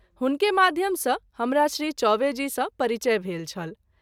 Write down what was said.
हुनके माध्यम सँ हमरा श्री चौवे जी सँ परिचय भेल छल।